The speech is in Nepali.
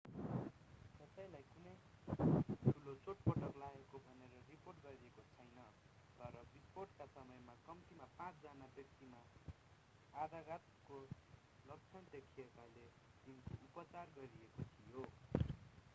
कसैलाई कुनै ठूलो चोटपटक लागेको भनेर रिपोर्ट गरिएको छैन तर विस्फोटका समयमा कम्तीमा पाँच जना व्यक्तिमा आघातको लक्षण देखिएकाले तिनको उपचार गरिएको थियो